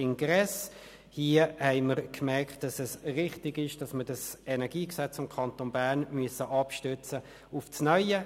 Ich möchte das Traktandum folgendermassen behandeln: